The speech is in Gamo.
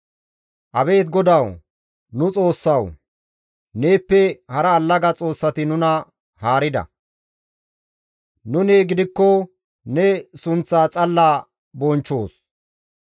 Abeet GODAWU Nu Xoossawu! neeppe hara allaga xoossati nuna haarida; nuni gidikko ne sunththaa xalla bonchchoos.